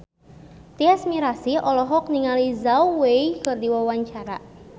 Tyas Mirasih olohok ningali Zhao Wei keur diwawancara